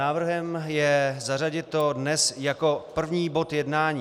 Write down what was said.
Návrhem je zařadit to dnes jako první bod jednání.